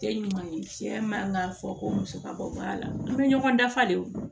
Tɛ ɲuman ye cɛ man ka fɔ ko musakaba bɔ a la an bɛ ɲɔgɔn dafa de o